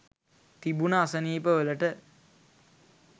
තිබුණ අසනීපවලට